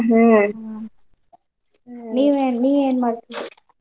ಹ್ಮ್ ನೀವೇನ್ ನೀವೇನ್ ಮಾಡ್ತೀರಿ?